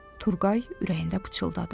Turğay ürəyində pıçıldadı.